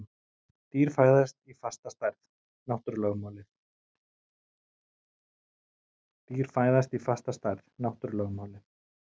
Dýr fæðast í fasta stærð: náttúrulögmálin.